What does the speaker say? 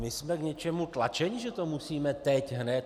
My jsme k něčemu tlačeni, že to musíme teď hned.